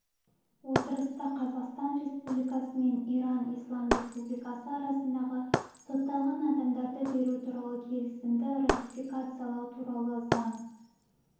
отырыста қазақстан республикасы мен иран ислам республикасы арасындағы сотталған адамдарды беру туралы келісімді ратификациялау туралы заң